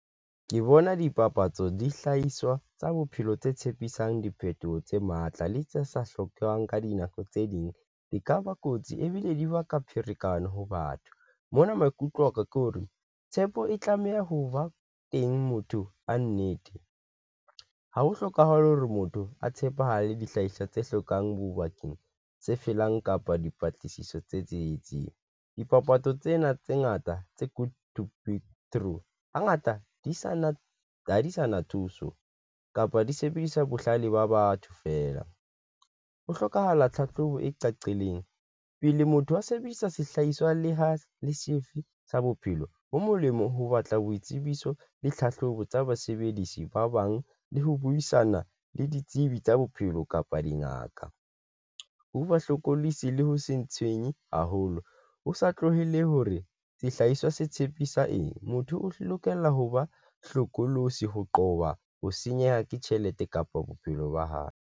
Ke bona dipapatso, dihlahiswa tsa bophelo tse tshepisang diphethoho tse matla le tse sa hlokehang ka dinako tse ding di ka ba kotsi ebile di baka pherekano ho batho, mona maikutlo aka ke hore tshepo e tlameha ho ba teng motho a nnete ha ho hlokahale hore motho a tshepahale dihlahiswa tse hlokang bo bakeng tse felang kapa dipatlisiso tse tsietsing. Dipapatso tsena tse ngata tse good to be true hangata di sa na ha di sa na thuso kapa di sebedisa bohlale ba batho feela. Ho hlokahala tlhahlobo e cacileng pele motho a sebedisa sehlahiswa le ha e le sefe sa bophelo bo molemo ho batla boitsebiso le tlhahlobo tsa basebedisi ba bang le ho buisana le ditsebi tsa bophelo kapa dingaka. Ho ba hlokolosi le ho se ntshwenya haholo ho sa tlohele hore sehlahiswa se tshepisa eng motho o lokela ho ba hlokolosi ho qoba ho senyehelwa ke tjhelete kapa bophelo ba hae.